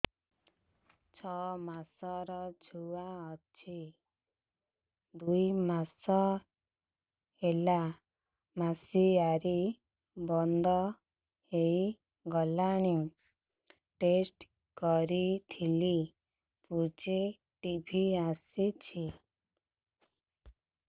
ଛଅ ମାସର ଛୁଆ ଅଛି ଦୁଇ ମାସ ହେଲା ମାସୁଆରି ବନ୍ଦ ହେଇଗଲାଣି ଟେଷ୍ଟ କରିଥିଲି ପୋଜିଟିଭ ଆସିଛି